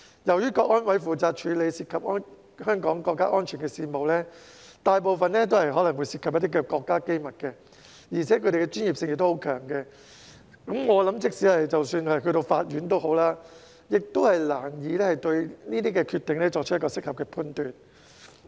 由於香港國安委負責處理涉及香港國家安全的事務，大部分可能涉及國家機密，而且其專業性強，我想即使是法院亦難以對其決定作出適合判斷。